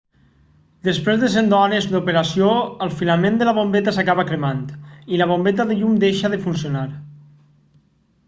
després de cents d'hores d'operació el filament de la bombeta s'acaba cremant i la bombeta de llum deixa de funcionar